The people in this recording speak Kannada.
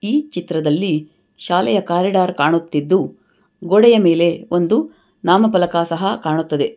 ಈ ಚಿತ್ರದಲ್ಲಿ ಶಾಲೆಯ ಕಾರಿಡಾರ್ ಕಾಣುತ್ತಿದ್ದು ಗೋಡೆಯ ಮೇಲೆ ಒಂದು ನಾಮ ಪಲಕ ಸಹ ಕಾಣುತ್ತದೆ.